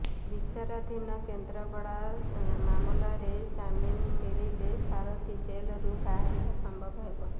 ବିଚାରାଧୀନ କେନ୍ଦ୍ରାପଡା ମାମଲାରେ ଜାମିନ ମଳିଲେ ସାରଥି ଜେଲରୁ ବାହାରିବା ସମ୍ଭବ ହେବ